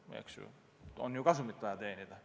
On ju vaja kasumit teenida.